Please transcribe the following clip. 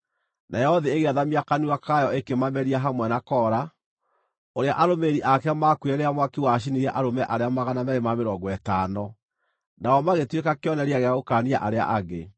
Nayo thĩ ĩgĩathamia kanua kayo ĩkĩmameria hamwe na Kora, ũrĩa arũmĩrĩri ake maakuire rĩrĩa mwaki wacinire arũme arĩa 250. Nao magĩtuĩka kĩonereria gĩa gũkaania arĩa angĩ.